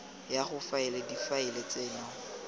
ya go faela difaele tseno